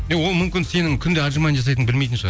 иә ол мүмкін сенің күнде аджимани жасайтыныңды білмейтін шығар